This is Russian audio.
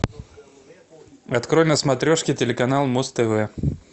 открой на смотрешке телеканал муз тв